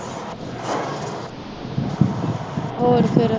ਹੋਰ ਫੇਰ